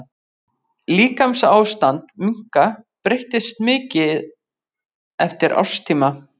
Líkamsástand minka breytist mikið eftir árstíma.